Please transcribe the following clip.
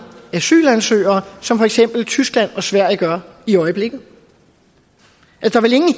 asylansøgere som for eksempel tyskland og sverige gør i øjeblikket